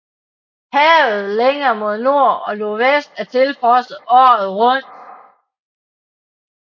Havet længere mod nord og nordvest er tilfrosset året rundt